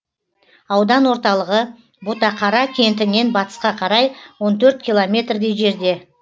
аудан орталығы ботақара кентінен батысқа қарай он төрт километрдей жерде